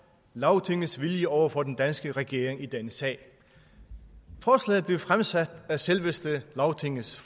lagtingets vilje over for den danske regering i denne sag forslaget blev fremsat af selveste lagtingets